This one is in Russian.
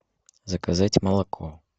заказать молоко